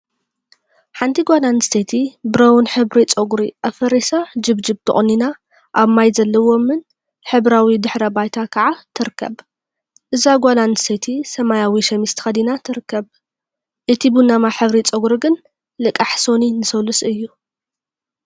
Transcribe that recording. ሓንቲ ጓል አንስተይቲ ብረውን ሕብሪ ፀጉሪ አፈሪሳ ጀብጀብ ተቆኒና አብ ማይ ዘለዎምን ሕብራዊ ድሕረ ባይታ ከዓ ትርከብ፡፡ እዛ ጓል አንስተይቲ ሰማያዊ ሸሚዝ ተከዲና ትርከብ፡፡ እቲ ቡናማ ሕብሪ ፀጉሪ ግን ልቃሕ ሰኑይ ንሰሉስ እዩ፡፡